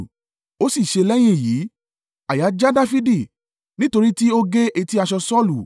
Ó sì ṣe lẹ́yìn èyí, àyà já Dafidi nítorí tí ó gé etí aṣọ Saulu.